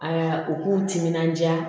Aa u k'u timinandiya